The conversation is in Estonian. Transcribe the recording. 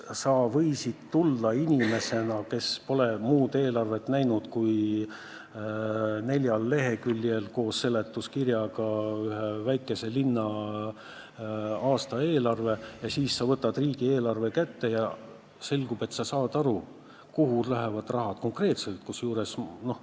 Sa võisid olla inimene, kes pole näinud muud eelarvet kui koos seletuskirjaga neljal leheküljel olev väikese linna aastaeelarve, aga sa võtsid riigieelarve kätte ja selgus, et sa saad aru, kuhu konkreetselt raha läheb.